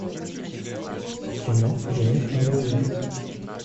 кино жених на двоих